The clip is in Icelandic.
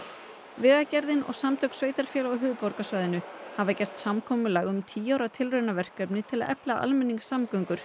vegagerðir og samtök sveitarfélaga á höfuðborgarsvæðinu hafa gert samkomulag um tíu ára tilraunaverkefni til að efla almenningssamgöngur